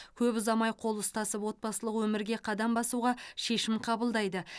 көп ұзамай қол ұстасып отбасылық өмірге қадам басуға шешім қабылдайды